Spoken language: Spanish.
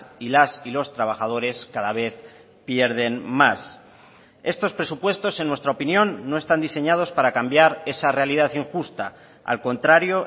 y las y los trabajadores cada vez pierden más estos presupuestos en nuestra opinión no están diseñados para cambiar esa realidad injusta al contrario